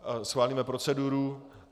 Schválíme proceduru.